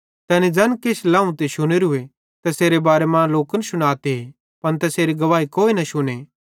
तैनी परमेशरे तरफां ज़ैन किछ लाव ते शुनेरू तैसेरे बारे मां लोकन शुनाते पन तैसेरी गवाही कोई न शुने